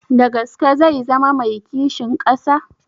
Da gaske zai zama mai kishin ƙasa?